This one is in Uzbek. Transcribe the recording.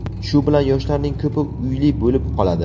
Shu bilan yoshlarning ko‘pi uyli bo‘lib qoladi.